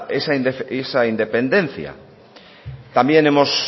esa independencia también hemos